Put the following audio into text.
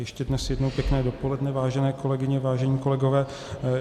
Ještě dnes jednou pěkné dopoledne, vážené kolegyně, vážení kolegové.